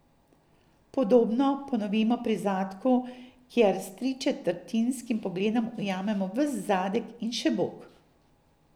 Podobno ponovimo pri zadku, kjer s tričetrtinskim pogledom ujamemo ves zadek in še bok.